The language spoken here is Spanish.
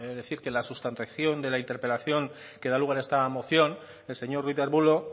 decir que la sustanciación de la interpelación que da lugar a esta moción el señor ruiz de arbulo